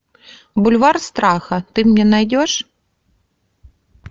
бульвар страха ты мне найдешь